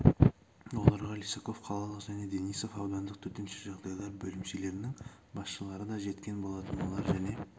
оларға лисаков қалалық және денисов аудандық төтенше жағдайлар бөлімшелерінің басшылары да жеткен болатын олар және